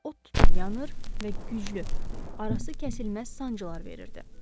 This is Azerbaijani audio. İçi od tutub yanır və güclü, arası kəsilməz sancılar verirdi.